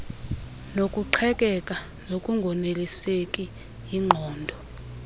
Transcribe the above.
nokuqhekeka nokungoneliseki yingqondo